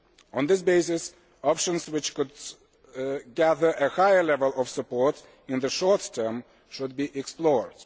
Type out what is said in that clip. On this basis, options which could gather a higher level of support in the short term should be explored.